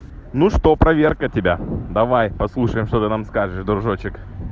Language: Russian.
ну что проверка тебя давай послушаем что ты нам скажешь дружочек